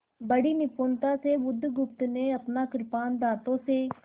बड़ी निपुणता से बुधगुप्त ने अपना कृपाण दाँतों से